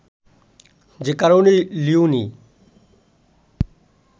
সে কারণেই লিওনি